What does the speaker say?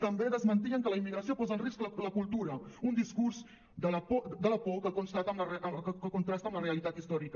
també desmentien que la immigració posa en risc la cultura un discurs de la por que contrasta amb la realitat històrica